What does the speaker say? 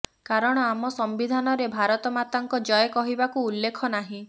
କାରଣ ଆମ ସମ୍ବିଧାନରେ ଭାରତ ମାତାଙ୍କ ଜୟ କହିବାକୁ ଉଲ୍ଲେଖ ନାହିଁ